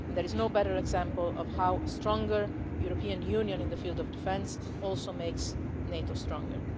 There is no better example of how a stronger European Union in the field of defence also makes NATO stronger.